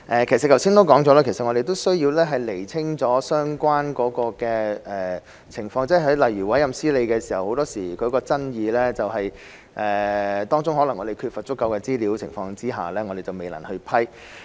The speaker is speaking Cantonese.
其實我剛才已指出，我們需要先釐清相關情況，例如委任司理時經常會出現爭議，我們可能在缺乏足夠資料的情況下未能批核。